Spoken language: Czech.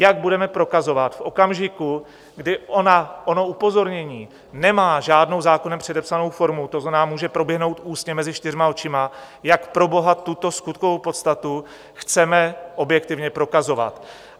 Jak budeme prokazovat v okamžiku, kdy ono upozornění nemá žádnou zákonem předepsanou formu, to znamená, může proběhnout ústně mezi čtyřma očima, jak proboha tuto skutkovou podstatu chceme objektivně prokazovat?